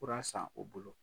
Kuran san u bolo.